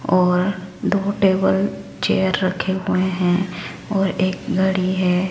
और दो table chair रखे हुए हैं और एक घड़ी है।